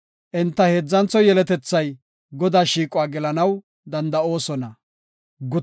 Enta heedzantho yeletethay Godaa shiiquwa gelanaw danda7oosona.